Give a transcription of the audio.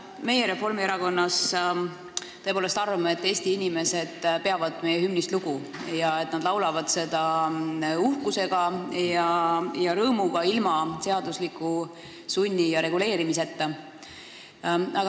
Meie Reformierakonnas tõepoolest arvame, et Eesti inimesed peavad meie hümnist lugu ning nad laulavad seda uhkuse ja rõõmuga, ilma seaduse sunni ja reguleerimiseta.